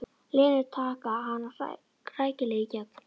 Lenu, taka hana rækilega í gegn.